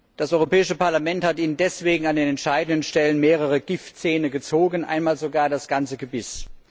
Das Europäische Parlament hat Ihnen deswegen an den entscheidenden Stellen mehrere Giftzähne gezogen, einmal sogar das ganze Gebiss.